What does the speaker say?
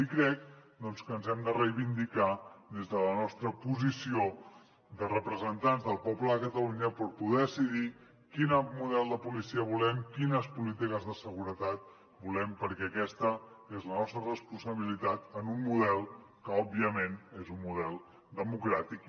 i crec que ens hem de reivindicar des de la nostra posició de representants del poble de catalunya per poder decidir quin model de policia volem quines polítiques de seguretat volem perquè aquesta és la nostra responsabilitat en un model que òbviament és un model democràtic